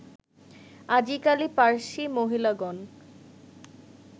আজিকালি পার্সী মহিলাগণ